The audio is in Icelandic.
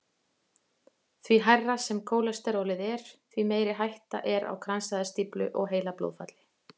Því hærra sem kólesterólið er, því meiri hætta er á kransæðastíflu og heilablóðfalli.